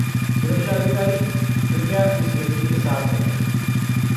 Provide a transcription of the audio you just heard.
सुरक्षा अधिकारी, कृपया इस व्यक्ति के साथ रहें।